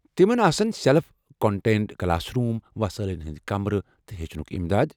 تمن آسن self contained classroom, وصٲیلن ہُند كمرٕ ، تہٕ ہیچھنُك امداد ۔